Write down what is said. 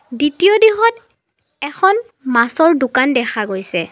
দ্বিতীয় দিশত এখন মাছৰ দোকান দেখা গৈছে।